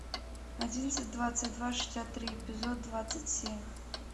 одиннадцать двадцать два шестьдесят три эпизод двадцать семь